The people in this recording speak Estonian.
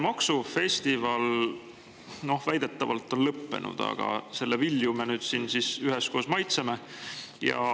Maksufestival on väidetavalt lõppenud, aga selle vilju me nüüd siin üheskoos maitseme.